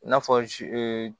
I n'a fɔ